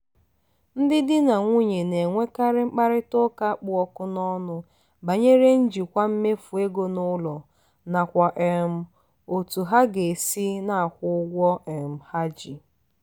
ndị di na nwunye na-enwekarị mkparịta ụka kpụ ọkụ n'ọnụ banyere njikwa mmefu ego n'ụlọ nakwa um otú ha ga-esi na-akwụ ụgwọ um ha ji.